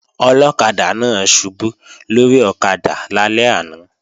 Ọlọ́kadà náà ṣubú lórí ọ̀kadà lálẹ́ àná